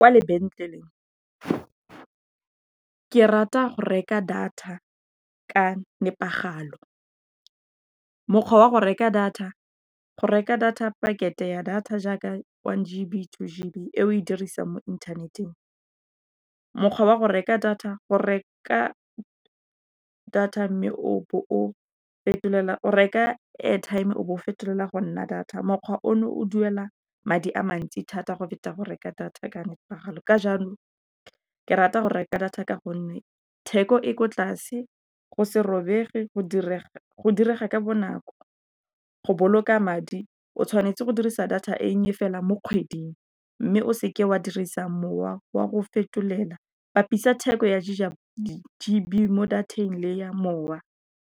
Kwa lebenkeleng ke rata go reka data ka nepagalo. Mokgwa wa go reka data, go reka data pakete ya data jaaka one G_B, two G_B e o e dirisang mo inthaneteng. Mokgwa wa go reka data, go reka data o reka airtime o bo o fetelela go nna data, mokgwa ono o duela madi a mantsi thata go feta go reka data ka nepagalo, ka jalo, ke rata go reka data ka gonne theko e ko tlase, go se robege go direga ka bonako, go boloka madi o tshwanetse go tlisa data e nnye fela mo kgweding, mme o seke wa dirisa mowa wa go fetolela, bapisa theko ya G_B mo data-eng le ya mowa.